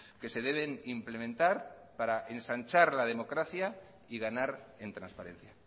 que se deben implementar para ensanchar la democracia y ganar en transparencia